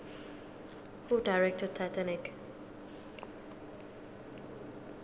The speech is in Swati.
who directed titanic